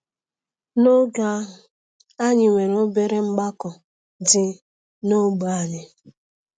N’oge ahụ, anyị nwere obere mgbakọ dị n’ógbè anyị.